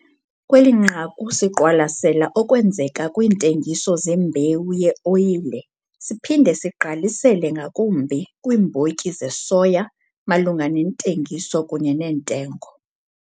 KWELI NQAKU SIQWALASELA OKWENZEKA KWIINTENGISO ZEMBEWU YEOYILE SIPHINDE SIGQALISELE NGAKUMBI KWIIMBOTYI ZESOYA MALUNGA NEENTENGISO KUNYE NEENTENGO.